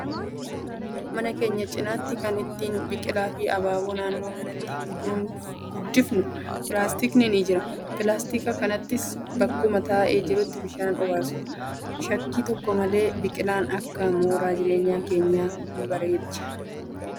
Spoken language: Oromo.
Mana keenya cinaatti kan ittiin biqilaa fi abaaboo naannoo manaatti guddifnu pilaasitkni ni jira. Pilaastika kanattis bakkuma taa'ee jirutti bishaan obaasu. Shakkii tokko malee biqilaan akkanaa mooraa jireenyaa keenya ni bareecha